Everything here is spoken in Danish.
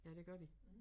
Ja det gør de